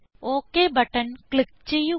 okay button click ചെയ്യുക